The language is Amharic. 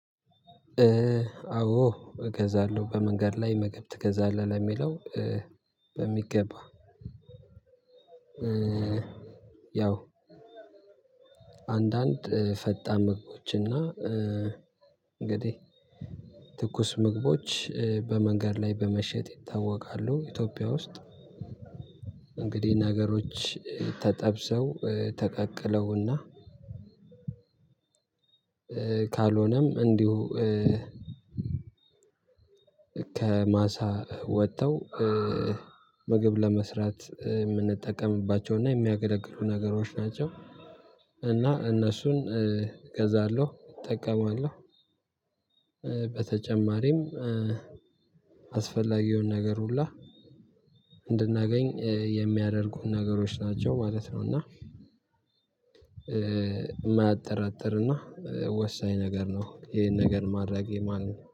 አዎ እገዛለሁ በመንገድ ላይ ምግብ ትገዛለህ ለሚለው? በሚገባ ያው አንዳንድ ፈጣን ምግቦች እና እንግዲህ ትኩስ ምግቦች በመንገድ ላይ በመሸጥ ይታወቃሉ። ኢትዮጵያ ውስጥ እንግዲህ ነገሮች ተጠብሰው ተቀቅለውና። ካልሆነም እንዲሁ ከማሳ ወጥተው ምግብ ለመስራት የምንጠቀምባቸውና የሚያገለግሉ ነገሮች ናቸው። እና እነሱን እገዛለሁ እጠቀማለሁ። በተጨማሪም አስፈላጊውን ነገር ሁላ እንድናገኝ የሚያደርጉን ነገሮች ናቸው ማለት ነው። እና የማያጠራጥርና ወሳኝ ነገር ነው። ይሄን ነገር ማድረጌ ማለት ነው